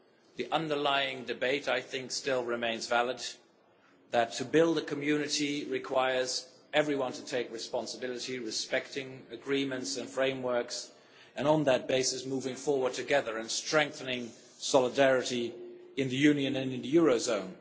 The underlying debate still remains valid that to build a community requires everyone to take responsibility, respecting agreements and frameworks, and, on that basis, moving forward together and strengthening solidarity in the Union and in the eurozone.